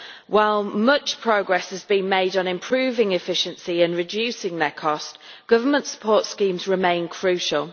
While much progress has been made on improving efficiency and reducing their cost, government support schemes remain crucial.